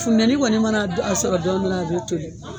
Funtɛni kɔni mana a sɔrɔ dɔɔni dɔrɔn a be toli.